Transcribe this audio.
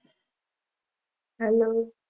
હાલો